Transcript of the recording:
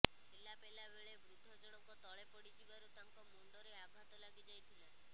ଠେଲାପେଲା ବେଳେ ବୃଦ୍ଧ ଜଣକ ତଳେ ପଡି ଯିବାରୁ ତାଙ୍କ ମୁଣ୍ଡରେ ଆଘାତ ଲାଗି ଯାଇଥିଲା